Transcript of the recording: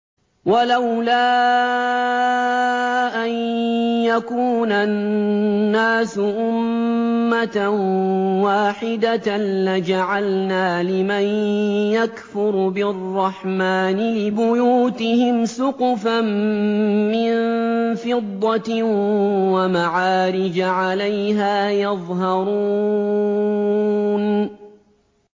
وَلَوْلَا أَن يَكُونَ النَّاسُ أُمَّةً وَاحِدَةً لَّجَعَلْنَا لِمَن يَكْفُرُ بِالرَّحْمَٰنِ لِبُيُوتِهِمْ سُقُفًا مِّن فِضَّةٍ وَمَعَارِجَ عَلَيْهَا يَظْهَرُونَ